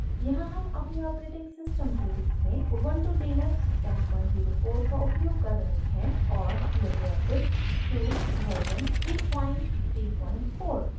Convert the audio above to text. यहाँ हम अपने ऑपरेटिंग सिस्टम के रूप में ubuntu लिनक्स 1004 का उपयोग कर रहे हैं और लिबरे ऑफिस सूट वर्जन 334